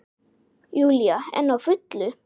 Júlía enn á fullu.